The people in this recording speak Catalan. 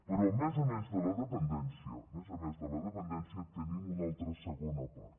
però a més a més de la dependència a més a més de la dependència tenim una altra segona part